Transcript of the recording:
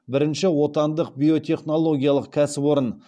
бірінші отандық биотехнологиялық кәсіпорын